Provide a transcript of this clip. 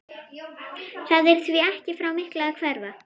Það er því ekki frá miklu að hverfa.